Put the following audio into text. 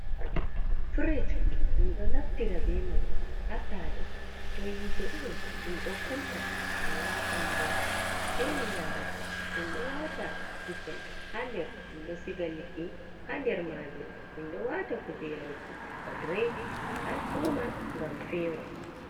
Firij min ɗo naftira be man ha sare to yitee ɗon min ɗo kunna min wata ndiyam fewnina amin, minɗo wata kusel ha nder, min ɗo siga liɗɗi ha nder majum, mindo wata kuje yarugo ba drinks ha fuman ngam fewa.